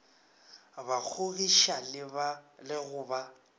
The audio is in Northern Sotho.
ba kgogiša le go ba